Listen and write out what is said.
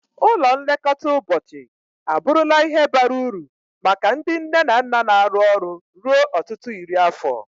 Ụlọ nlekọta ụbọchị abụrụla ihe bara uru maka ndị nne na nna na-arụ ọrụ ruo ọtụtụ iri afọ.